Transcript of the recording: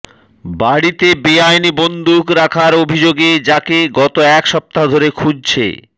বাড়িতে বেআইনি বন্দুক রাখার অভিযোগে যাকে গত এক সপ্তাহ ধরে খুঁজছে